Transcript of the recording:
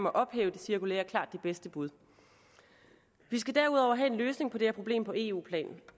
at ophæve det cirkulære klart det bedste bud vi skal derudover have en løsning på det her problem på eu plan